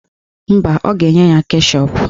Mba, ọ ga-enye ya keshọp.